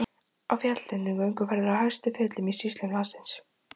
Á fjallatindum- gönguferðir á hæstu fjöll í sýslum landsins.